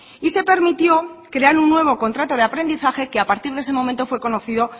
y se permitió crear un nuevo contrato de aprendizaje que a partir de ese momento fue conocido